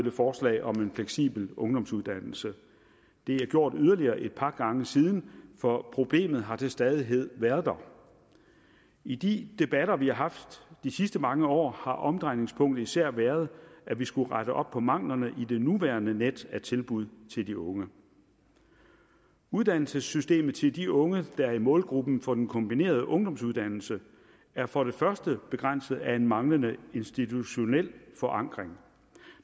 et forslag om en fleksibel ungdomsuddannelse det er gjort yderligere et par gange siden for problemet har til stadighed været der i de debatter vi har haft de sidste mange år har omdrejningspunktet især været at vi skulle rette op på manglerne i det nuværende net af tilbud til de unge uddannelsessystemet til de unge der er i målgruppen for den kombinerede ungdomsuddannelse er for det første begrænset af en manglende institutionel forankring